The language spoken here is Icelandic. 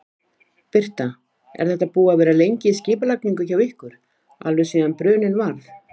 Birta: Er þetta búið að vera lengi í skipulagningu hjá ykkur, alveg síðan bruninn varð?